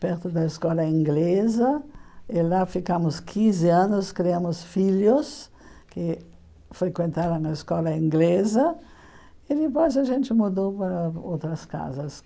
perto da escola inglesa, e lá ficamos quinze anos, criamos filhos que frequentaram a escola inglesa, e depois a gente mudou para outras casas.